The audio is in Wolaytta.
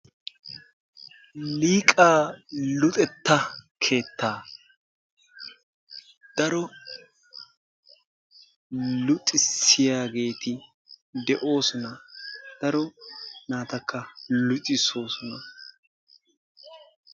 Liiqaa luxetta keettaa, daro luxissiyageeti de'oosona. Daro naatakka luxisoosona.